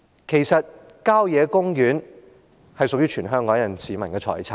其實，郊野公園是屬於全香港市民的財產。